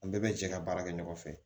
An bɛɛ bɛ jɛ ka baara kɛ ɲɔgɔn fɛ